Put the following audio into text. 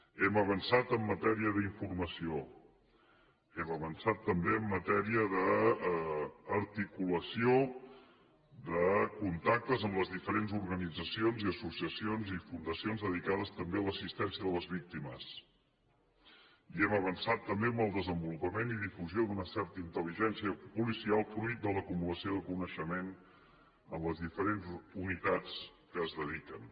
hem avançat en matèria d’informació hem avançat també en matèria d’articulació de contactes amb les diferents organitzacions i associacions i fundacions dedicades també a l’assistència de les víctimes i hem avançat també en el desenvolupament i difusió d’una certa intel·ligència policial fruit de l’acumulació de coneixement en les diferents unitats que s’hi dediquen